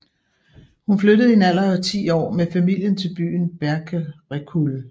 Hun flyttede i en alder af 10 år med familien til byen Berkerekul